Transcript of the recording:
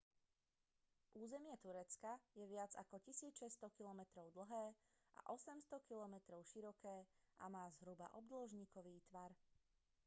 územie turecka je viac ako 1 600 kilometrov dlhé a 800 kilometrov široké a má zhruba obdĺžnikový tvar